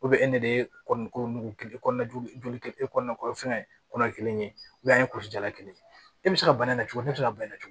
e de ye kɔni ko nugu kelen kɔnɔna joli e kɔni fɛngɛ kɔnɔ kelen ye an ye kulu jala kelen ye e bɛ se ka bana in na cogo di ne bɛ se ka bana in